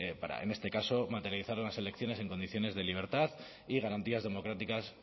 para en este caso materializar unas elecciones en condiciones de libertad y garantías democráticas